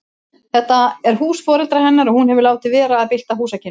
Þetta er hús foreldra hennar og hún hefur látið vera að bylta húsakynnum.